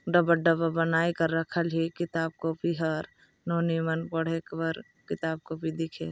डब्बा -डब्बा बनाये कर रखल ली किताब कॉपी हर नोनी मन पढ़े बार किताब कॉपी दिखये।